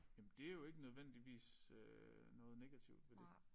Jamen det jo ikke nødvendigvis øh noget negativt ved det